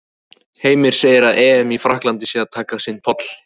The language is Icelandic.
Heimir segir að EM í Frakklandi sé að taka sinn toll.